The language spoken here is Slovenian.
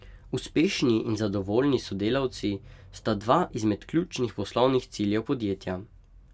Uspešni in zadovoljni sodelavci sta dva izmed ključnih poslovnih ciljev podjetja.